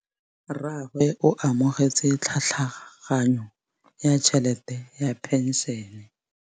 Rragwe o amogetse tlhatlhaganyô ya tšhelête ya phenšene.